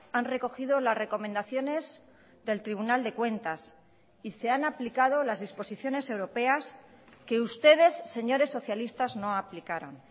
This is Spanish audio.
han recogido las recomendaciones del tribunal de cuentas y se han aplicado las disposiciones europeas que ustedes señores socialistas no aplicaron